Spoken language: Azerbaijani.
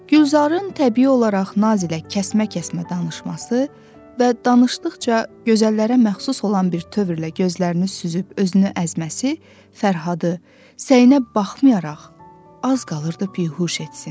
Gülzarın təbii olaraq nazilə kəsmə-kəsmə danışması və danışdıqca gözəllərə məxsus olan bir tövrlə gözlərini süzüb özünü əzməsi Fərhadı, səynə baxmayaraq, az qalırdı bihuş etsin.